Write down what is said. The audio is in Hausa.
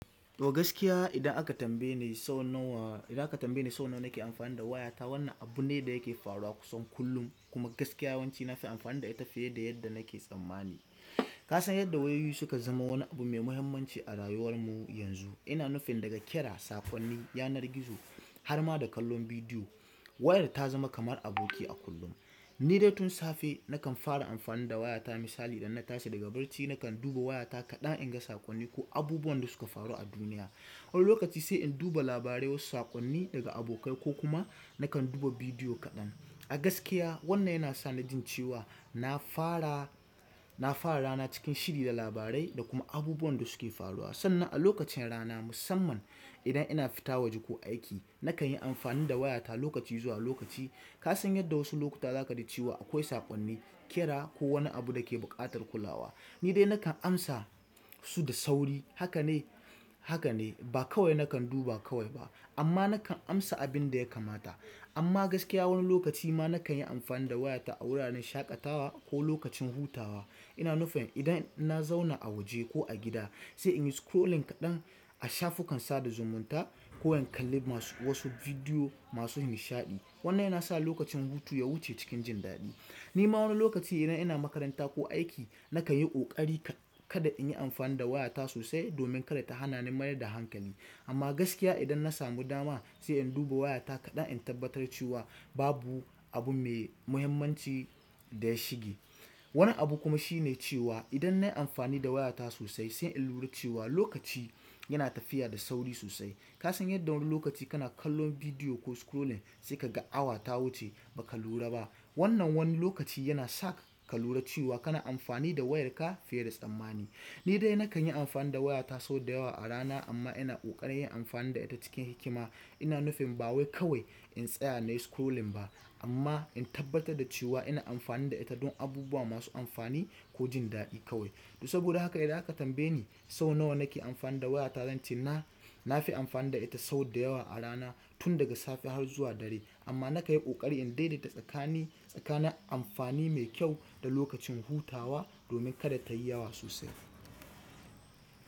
To gaskiya idan aka tambaye ni sau nawa, idan aka tambaye ni sau nawa nake amfani da wayata, wannan abu ne da yake faruwa kusan kullum kuma gaskiya yawanci na fi amfani da ita fiye da yadda nake tsammani. Ka san yadda wayoyi suka zama wani abu mai muhimmanci a rayuwar mu yanzu. Ina nufin daga kira, saƙonni, yanar gizo har ma da kallon bidiyo, wayar ta zama kamar aboki a kullum. Ni dai tun safe nakan fara amfani da wayata misali idan na tashi daga barci nakan duba wayata kaɗan in ga saƙonni ko abubuwan da suka faru a duniya. Wani lokaci sai in duba labarai wasu saƙonni daga abokai ko kuma nakan duba bidiyo kaɗan. A gaskiya wannan yana sa na jin cewa na fara, na fara rana cikin shiri da labarai da kuma abubuwan da suke faruwa. Sannan a lokacin rana musamman idan ina fita waje ko aiki nakan yi amfani da wayata lokaci zuwa lokaci. Ka san yadda wasu lokuta za ka ji cewa akwai saƙonni, kira ko wani abu da ke buƙatar kulawa. Ni dai nakan amsa su da sauri. Haka ne, haka ne ba kawai nakan duba kawai ba amma nakan amsa abin da ya kamata. Amma gaskiya wani lokaci ma nakan yi amfani da wayata a wuraren shaƙatawa ko lokacin hutawa. Ina nufin idan na zauna a waje ko a gida sai in yi scrolling kaɗan a shafukan sada zumunta ko in kalli masu wasu bidiyo masu nishaɗi. Wannan yana sa lokacin hutu ya wuce cikin jin daɗi. Ni ma wani lokaci idan ina makaranta ko aiki nakan yi ƙoƙari ka-kada in yi amfani da wayata sosai domin kada ta hana ni mayar da hankali. Amma gaskiya idan na samu dama sai in duba wayata kaɗan in tabbatar cewa babu abu mai muhimmanci da ya shige. Wani abu kuma shine cewa idan nayi amfani da wayata sosai sai in lura cewa lokaci yana tafiya da sauri sosai. Ka san yadda wani lokaci kana kallon bidiyo ko scrolling sai ka ga awa ta wuce ba ka lura ba. Wannan wani lokaci yana sa ka lura cewa kana amfani da wayarka fiye da tsammani. Ni dai nakan yi amfani da wayata sau da yawa a rana amma ina ƙoƙarin yin amfani da ita cikin hikima. Ina nufin ba wai kawai in tsaya na yi scrolling ba amma in tabbatar da cewa ina amfani da ita don abubuwa masu amfani ko jin daɗi kawai. Saboda haka idan aka tambaye ni sau nawa nake amfani da wayata, zance na, na fi amfani da ita sau da yawa a rana tun daga safe har zuwa dare. Amma naƙanyi ƙoƙari in daidaita tsakanin, tsakanin amfani mai kyau da lokacin hutawa domin kada ta yi yawa sosai.